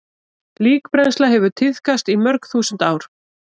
Líkbrennsla hefur tíðkast í mörg þúsund ár.